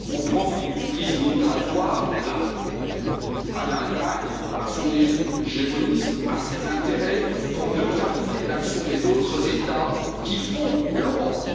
On profite d'une crise migratoire, largement due à l'Allemagne, à son hégémonisme, à ses intérêts, pour neutraliser l'action des autres États qui font l'Europe.